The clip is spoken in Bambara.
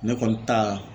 Ne kɔni ta la